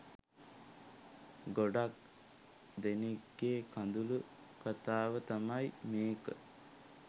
ගොඩක් දෙනෙක්ගේ කඳුළු කතාව තමයි මේක.